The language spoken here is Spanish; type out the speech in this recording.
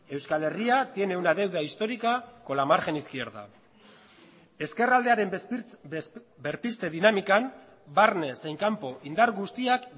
euskal herria tiene una deuda histórica con la margen izquierda ezkerraldearen berpizte dinamikan barne zein kanpo indar guztiak